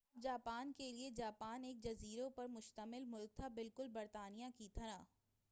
اب جاپان کے لئے جاپان ایک جزیروں پر مُشتمل ملک تھا بالکل برطانیہ کی طرح